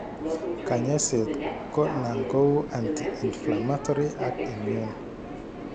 Kanyasiet ko nan ko uu anti inflammatory ak immune